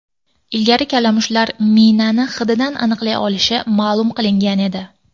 Ilgari kalamushlar minani hididan aniqlay olishi ma’lum qilingan edi.